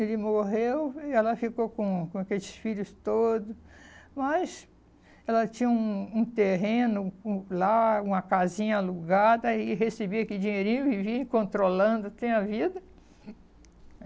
Ele morreu e ela ficou com com aqueles filhos todo, mas ela tinha um um terreno hum lá, uma casinha alugada e recebia aquele dinheirinho, vivia e controlando, tinha a vida.